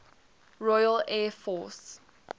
royal air force